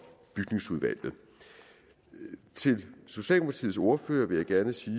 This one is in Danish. bygningsudvalget til socialdemokratiets ordfører vil jeg gerne sige